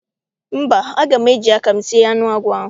Mba, aga m eji aka m sie anụ agwọ ahụ.